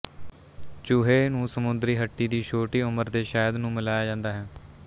ਚੂਹੇ ਨੂੰ ਸਮੁੰਦਰੀ ਹੱਟੀ ਦੀ ਛੋਟੀ ਉਮਰ ਦੇ ਸ਼ਹਿਦ ਨੂੰ ਮਿਲਾਇਆ ਜਾਂਦਾ ਹੈ